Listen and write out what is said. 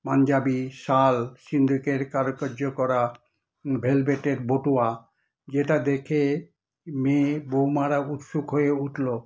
পাঞ্জাবী শাল, সিন্ধুকের কারুকার্য করা velvet - এর বটুয়া যেটা দেখে মেয়ে বৌমারা উৎসুক হয়ে উঠলো।